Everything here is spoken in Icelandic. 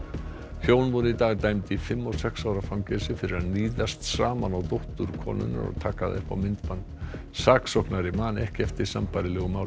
hjón voru í dag dæmd í fimm og sex ára fangelsi fyrir að níðast saman á dóttur konunnar og taka það upp á myndband saksóknari man ekki eftir sambærilegu máli